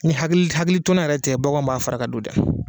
Ni hakili hakilitona yɛrɛ tɛ ,baganw b'a fara ka don dɛ!